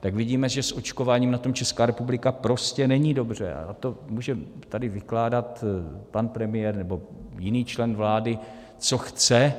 tak vidíme, že s očkováním na tom Česká republika prostě není dobře, a to může tady vykládat pan premiér nebo jiný člen vlády, co chce.